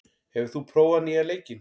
, hefur þú prófað nýja leikinn?